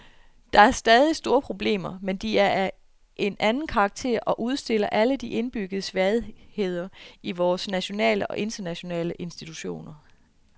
Der er stadig store problemer, men de er af en anden karakter og udstiller alle de indbyggede svagheder i vore nationale og internationale institutioner.